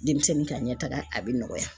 Denmisɛnnin ka ɲɛ taga a bɛ nɔgɔya.